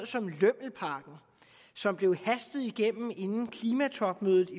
som lømmelpakken som blev hastet igennem i folketinget inden klimatopmødet